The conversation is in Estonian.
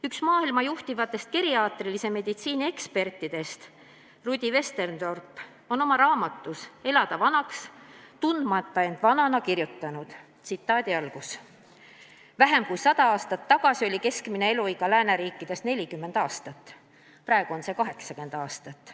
Üks maailma juhtivaid geriaatrilise meditsiini eksperte Rudi Westendorp on oma raamatus "Elada vanaks, tundmata end vanana" kirjutanud: "Vähem kui sada aastat tagasi oli keskmine eluiga lääneriikides 40 aastat, praegu on see 80 aastat.